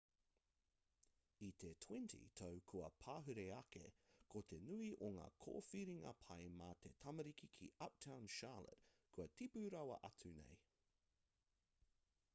i te 20 tau kua pahure ake ko te nui o ngā kōwhiringa pai mā te tamariki ki uptown charlotte kua tipu rawa atu nei